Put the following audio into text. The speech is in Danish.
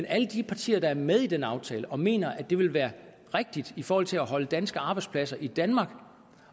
alle de partier der er med i den aftale og som mener at det ville være rigtigt i forhold til at holde danske arbejdspladser i danmark